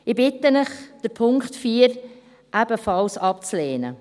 Ich bitte euch, Punkt 4 ebenfalls abzulehnen.